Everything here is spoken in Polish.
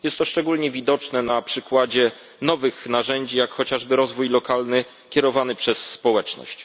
Jest to szczególnie widoczne na przykładzie nowych narzędzi, jak chociażby rozwoju lokalnego kierowanego przez społeczność.